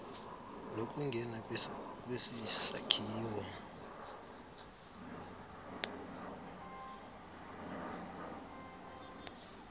lokungena kwesi sakhiwo